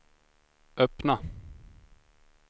öppna